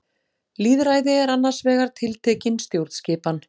Lýðræði er annars vegar tiltekin stjórnskipan.